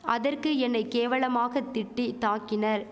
அதற்கு என்னை கேவலாமாக திட்டி தாக்கினர்